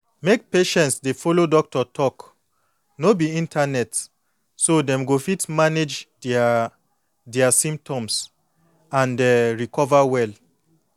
make patients dey follow doctor talk no be internet so dem go fit manage their their symptoms and um recover well.